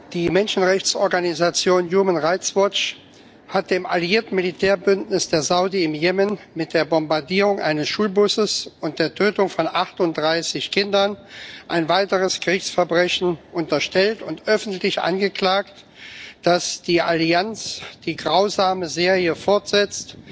Die Menschenrechtsorganisation hat dem alliierten Militärbündnis der Saudis im Jemen mit der Bombardierung eines Schulbusses und der Tötung von 38 Kindern ein weiteres Kriegsverbrechen unterstellt und öffentlich angeklagt, dass die Allianz die grausame Serie fortsetzt,